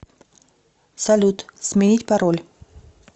салют сменить пароль